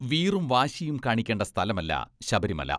വീറും, വാശിയും കാണിക്കേണ്ട സ്ഥലമല്ല ശബരിമല.